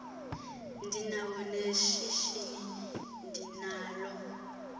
ndinawo neshishini ndinalo